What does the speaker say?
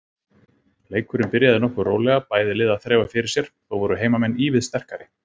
Leikurinn byrjaði nokkuð rólega, bæði lið að þreifa fyrir sér, þó voru heimamenn ívið sterkari.